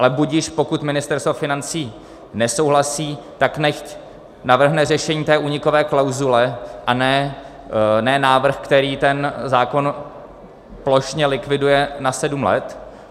Ale budiž, pokud Ministerstvo financí nesouhlasí, tak nechť navrhne řešení té únikové klauzule a ne návrh, který ten zákon plošně likviduje na sedm let.